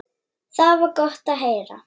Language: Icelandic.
Það var gott að heyra.